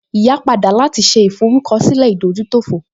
Ìyá padà láti ṣe ìforúkọsílẹ̀ ìdójútòfò